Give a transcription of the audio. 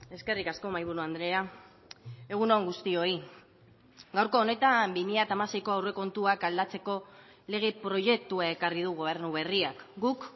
eskerrik asko mahaiburu andrea egun on guztioi gaurko honetan bi mila hamaseiko aurrekontuak aldatzeko lege proiektua ekarri du gobernu berriak guk